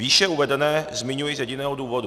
Výše uvedené zmiňuji z jediného důvodu.